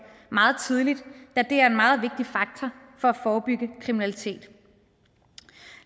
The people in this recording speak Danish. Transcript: meget tidligt da det er en meget vigtig faktor for at forebygge kriminalitet